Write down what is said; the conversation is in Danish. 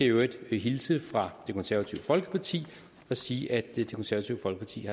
i øvrigt hilse fra det konservative folkeparti og sige at det konservative folkeparti